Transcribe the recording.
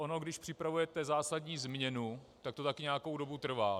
Ono když připravujete zásadní změnu, tak to také nějakou dobu trvá.